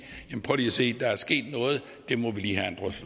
prøv lige at se der er sket noget det må vi lige